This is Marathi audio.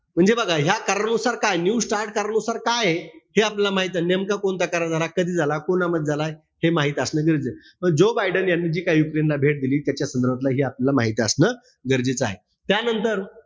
म्हणजे बघा या करारानुसार काय? न्यू स्टार्ट करारानुसार काये हे आपल्याला माहिते. नेमकं कोणतं करार झाला? कधी झाला? कोणामध्ये झाला? हे माहित असणं गरजेचंय. जो बायडेन यांनी जी काईयुक्रेनला भेट दिली, त्याच्या संदर्भातलं हे आपल्याला माहित असणं गरजेचं आहे. त्यानंतर,